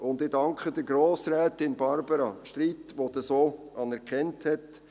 Und ich danke Grossrätin Barbara Streit, die dies anerkannt hat.